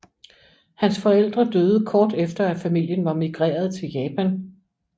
Hans forældre døde kort efter at familien var migreret til Japan